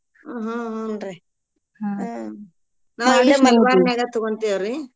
ಹ್ಮ್ ಹ್ಮ್ ರೀ ಮಲ್ಬಾರ್ ನ್ಯಾಗ ತಗೊಂತೀವ್ರೀ.